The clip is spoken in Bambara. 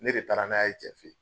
Ne de taara n'a ye cɛ fe ye